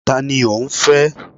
Ta ni ò ń fẹ́?